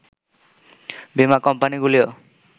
বীমা কোম্পানিগুলিও